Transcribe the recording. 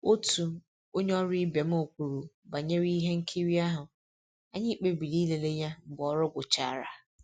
Otu onye ọrụ ibe m kwuru banyere ihe nkiri ahụ, anyị kpebiri ịlele ya mgbe ọrụ gwụchara